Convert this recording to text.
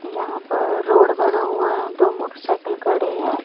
यहां पर रोड बना हुआ है दो मोटरसाइकिल खड़ी हैं।